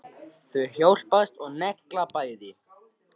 Þau hjálpast að og negla bæði.